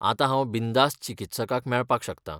आतां हांव बिनधास्त चिकित्सकाक मेळपाक शकतां.